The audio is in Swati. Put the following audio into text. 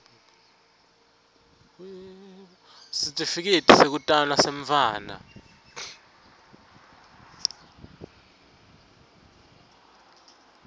sitifiketi sekutalwa semntfwana